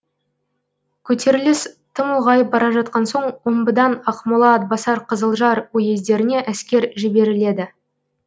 көтеріліс тым ұлғайып бара жатқан соң омбыдан ақмола атбасар қызылжар уездеріне әскер жіберіледі